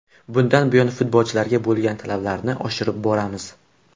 Bundan buyon futbolchilarga bo‘lgan talablarni oshirib boramiz.